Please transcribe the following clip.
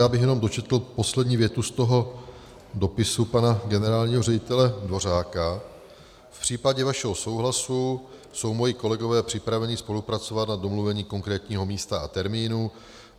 Já bych jenom dočetl poslední větu z toho dopisu pana generálního ředitele Dvořáka: V případě vašeho souhlasu jsou moji kolegové připraveni spolupracovat na domluvení konkrétního místa a termínu.